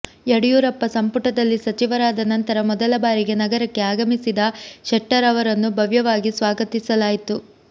ಯಡಿಯೂರಪ್ಪ ಸಂಪುಟದಲ್ಲಿ ಸಚಿವರಾದ ನಂತರ ಮೊದಲ ಬಾರಿಗೆ ನಗರಕ್ಕೆ ಆಗಮಿಸಿದ ಶೆಟ್ಟರ್ ಅವರನ್ನು ಭವ್ಯವಾಗಿ ಸ್ವಾಗತಿಸಲಾಯಿತು